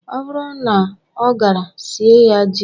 Ọ bụrụ na ọ gara, sie ya ji.